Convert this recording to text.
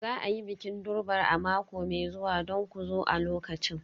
Za a yi bikin Durbar a mako mai zuwa don ku zo a lokacin.